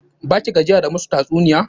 Ba ki gajiya da musu tatsuniya?